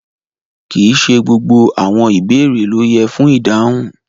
Kí íṣẹ̀ gbogbo àwọn ìbẹ̀rẹ̀ lo yẹ́ fún idáhùn.